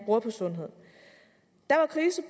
bruger på sundhed der var krise